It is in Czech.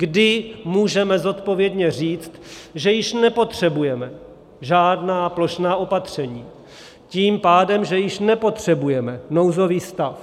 Kdy můžeme zodpovědně říct, že již nepotřebujeme žádná plošná opatření, tím pádem že již nepotřebujeme nouzový stav.